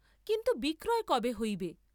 কিন্তু বিক্রয় কবে হইবে?